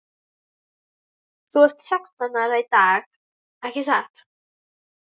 Þú ert sextán ára í dag ekki satt?